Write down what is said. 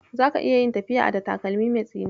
Zaki iya yin tafiya a da takalmi mai tsini?